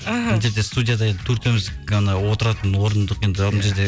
іхі мына жерде студияда енді төртеуіміз ғана отыратын орындық енді мына жерде